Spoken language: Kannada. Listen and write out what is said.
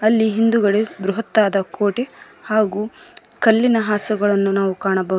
ಅಲ್ಲಿ ಹಿಂದುಗಡೆ ಬೃಹತ್ತಾದ ಕೋಟೆ ಹಾಗು ಕಲ್ಲಿನ ಹಾಸುಗಳನ್ನು ಕಾಣಬೋ--